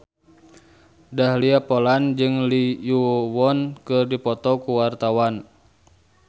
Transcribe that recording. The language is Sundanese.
Dahlia Poland jeung Lee Yo Won keur dipoto ku wartawan